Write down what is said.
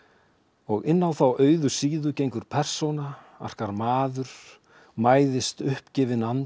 og inn á þá auðu síðu gengur persóna arkar maður mæðist uppgefinn andi